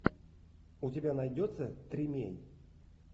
у тебя найдется тримей